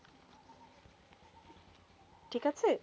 ঠিক আছে।